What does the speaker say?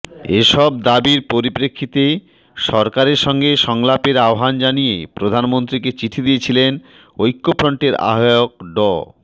এসব দাবির পরিপ্রেক্ষিতে সরকারের সঙ্গে সংলাপের আহ্বান জানিয়ে প্রধানমন্ত্রীকে চিঠি দিয়েছিলেন ঐক্যফ্রন্টের আহ্বায়ক ড